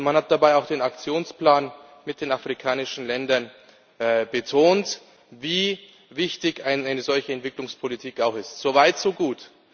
Man hat dabei auch den Aktionsplan mit den afrikanischen Ländern betont und wie wichtig eine solche Entwicklungspolitik ist so weit, so gut.